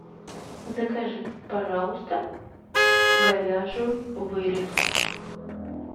закажи пожалуйста говяжью вырезку